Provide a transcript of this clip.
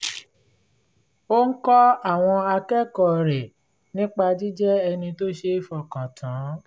ó ń kọ́ àwọn akẹ́kọ̀ọ́ rẹ̀ nípa jíjẹ́ ẹni tó ṣe é fọkàn tán